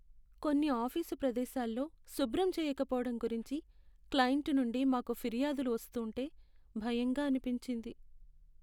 కొన్ని ఆఫీసు ప్రదేశాల్లో శుభ్రం చేయకపోవడం గురించి క్లయింట్ నుండి మాకు ఫిర్యాదులు వస్తూంటే భయంగా అనిపించింది.